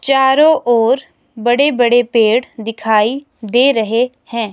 चारों ओर बड़े बड़े पेड़ दिखाई दे रहे हैं।